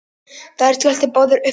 Þær skelltu báðar upp úr.